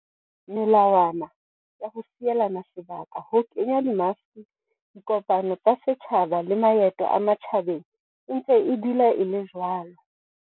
Melawana ya ho sielana sebaka, ho kenya di maske, dikopano tsa setjhaba le maeto a matjhabeng e ntse e dutse e le jwalo.